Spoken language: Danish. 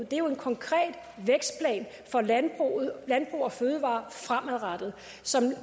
det er jo en konkret vækstplan for landbrug og fødevarer fremadrettet